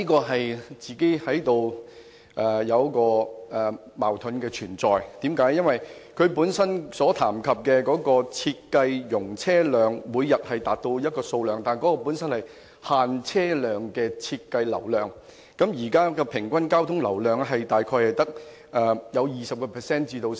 可是，這說法存在矛盾，因為這裏談到的每日設計容車量是限制車量的設計流量，而現時平均交通流量大概只有 20% 至 50%。